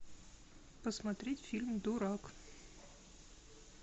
посмотреть фильм дурак